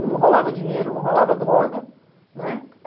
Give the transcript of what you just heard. Não rolava dinheiro, não rolava droga, né?